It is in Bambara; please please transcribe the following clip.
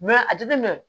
a jateminɛ